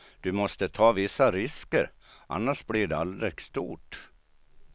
Du måste ta vissa risker, annars blir det aldrig stort.